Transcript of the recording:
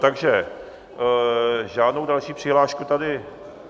Takže žádnou další přihlášku tady...